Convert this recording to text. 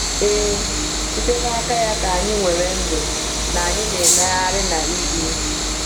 Ee, “site n’aka ya ka anyị nwere ndụ, na anyị na-emegharị na ibi.”